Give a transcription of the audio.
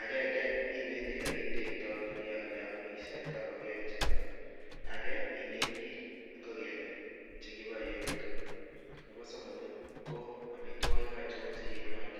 Agenge ineti olekitekto oleomisien ingokenichuto, age ineti ingokenik che kiboe en yuton nebo somok ko amitwogik achon che nyolu